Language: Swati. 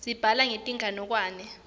sibhala metinganekwane